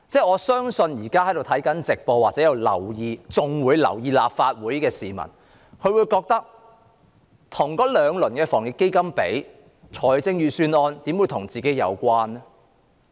我相信現時觀看會議直播或仍然留意立法會會議的市民會覺得與兩輪防疫抗疫基金的措施比較，預算案不怎跟自己有關。